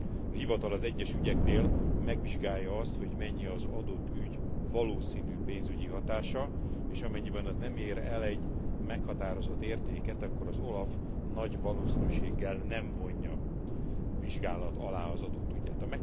A hivatal az egyes ügyeknél megvizsgálja azt, hogy mennyi az adott ügy valószínű pénzügyi hatása, és amennyiben az nem ér el egy meghatározott értéket, akkor az OLAF nagy valószínűséggel nem vonja vizsgálat alá az adott ügyet.